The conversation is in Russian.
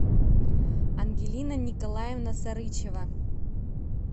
ангелина николаевна сарычева